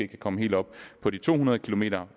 kan komme helt op på de to hundrede kilometer